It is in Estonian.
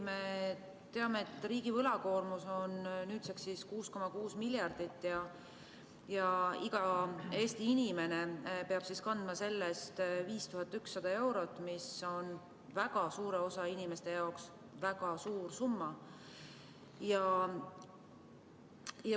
Me teame, et riigi võlakoormus on nüüdseks 6,6 miljardit ja iga Eesti inimene peab kandma sellest 5100 eurot, mis on väga suure osa inimeste jaoks väga suur summa.